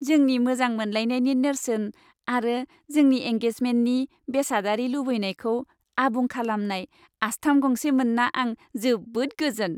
जोंनि मोजां मोनलायनायनि नेरसोन आरो जोंनि एंगेजमेन्टनि बेसादारि लुबैनायखौ आबुं खालामनाय आस्थाम गंसे मोन्ना आं जोबोद गोजोन।